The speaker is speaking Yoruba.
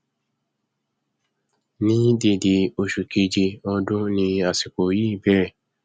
ni dédé oṣù kéèjé ọdún ni àsìkò yìí bẹrẹ